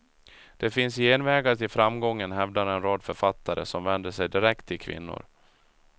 Det finns genvägar till framgången hävdar en rad författare som vänder sig direkt till kvinnor.